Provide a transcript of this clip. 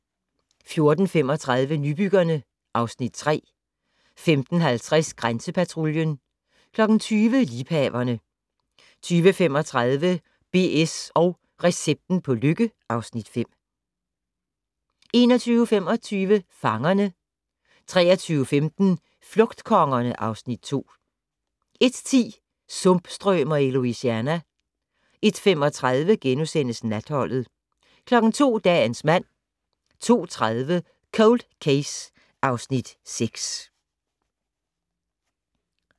14:35: Nybyggerne (Afs. 3) 15:50: Grænsepatruljen 20:00: Liebhaverne 20:35: BS & recepten på lykke (Afs. 5) 21:25: Fangerne 23:15: Flugtkongerne (Afs. 2) 01:10: Sumpstrømer i Louisiana 01:35: Natholdet * 02:00: Dagens mand 02:30: Cold Case (Afs. 6)